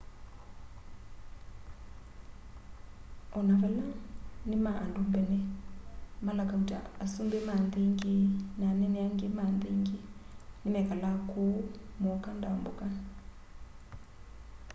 ona vala ni ma andũ mbene mala kauta asũmbĩ ma nthi ingĩ na anene angĩ ma nthi ingĩ nimekalaa kuũ mooka ndambũka